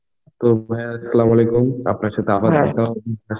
তো ভাই Arbi আপনার সাথে দেখা হবে.